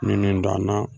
Minnu danna